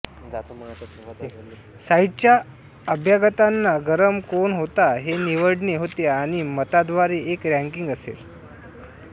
साइटच्या अभ्यागतांना गरम कोण होता हे निवडणे होते आणि मतांद्वारे एक रॅंकिंग असेल